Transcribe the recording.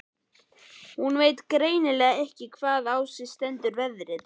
Hún veit greinilega ekki hvaðan á sig stendur veðrið.